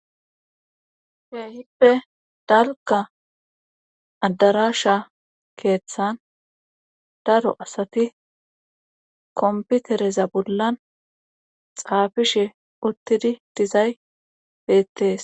Keehippe dalgga addaraasha keethan daro asati komppitereza bolla xaafishe uttidi dizay beettees.